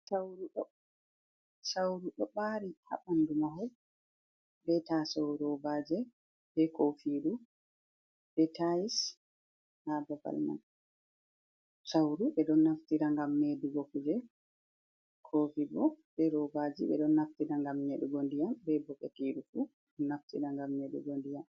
Sauru ɗo ɓari ha ɓandu mahol, be tasaw, robaje, be kofiru be tayis, ha babal man sauru beɗon naftira, ngam medugo kuje, kofibo ɓe robaje ɓeɗon naftira ngam nyeɗugo ndiyam be bokatirufu ɗo naftira ngam nyeɗugo ndiyam.